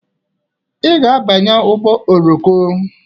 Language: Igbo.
I ga-abanye ụgbọ oroko!